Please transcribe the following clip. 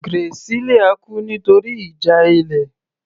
Graciela kú nítorí ìjà ilé